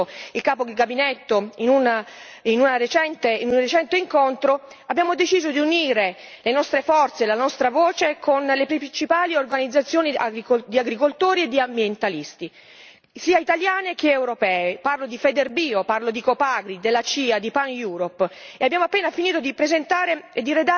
Per questo, come già mi ha suggerito il capo gabinetto in un recente incontro, abbiamo deciso di unire le nostre forze e la nostra voce con le principali organizzazioni di agricoltori e di ambientalisti sia italiane che europee parlo di Federbio, parlo di Copagri, della CIA, di PAN Europe.